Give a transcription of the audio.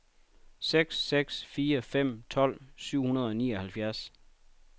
seks seks fire fem tolv syv hundrede og nioghalvfjerds